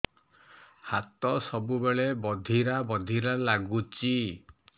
ହାତ ସବୁବେଳେ ବଧିରା ବଧିରା ଲାଗୁଚି